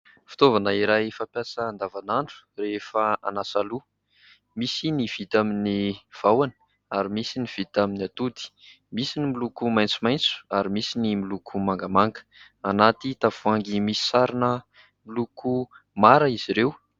Fitaovana iray fampiasa andavanandro rehefa hanasa loha, misy ny vita amin'ny vahona ary misy ny vita amin'ny atody, misy ny miloko maitsomaitso ary misy ny miloko mangamanga. Ao anaty tavoahangy misy sarona miloko mara izy ireo.